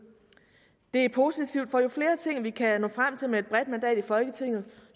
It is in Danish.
det er positivt for jo flere ting vi kan nå frem til med et bredt mandat i folketinget